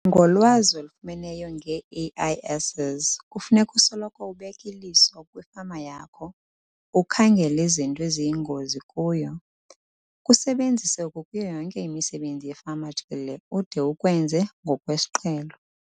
Ngolwazi olufumeneyo ngee-AIS's kufuneka usoloko ubeke iliso kwifama yakho ukhangele izinto eziyingozi kuyo. Kusebenzise oku kuyo yonke imisebenzi yefama jikelele ude ukwenze ngokwesiqhelo.